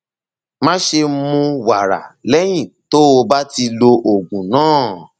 máṣe mu wàrà lẹyìn tó o bá ti lo oògùn náà